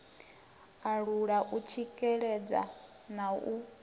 alula u tsikeledza na u